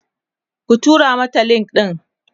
ki tura mata link ɗin!